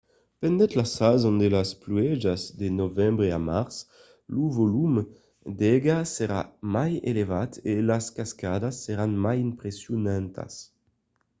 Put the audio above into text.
pendent la sason de las pluèjas de novembre a març lo volum d’aiga serà mai elevat e las cascadas seràn mai impressionantas